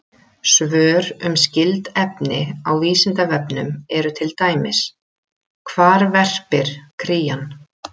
Svör um skyld efni á Vísindavefnum eru til dæmis: Hvar verpir krían?